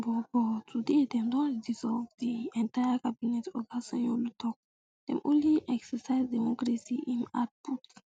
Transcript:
but but today dem don dissolve di entire cabinet oga sanyaolu tok dem only exercise democracy im add put